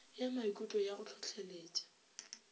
ya maikutlo ya go hlohleletpa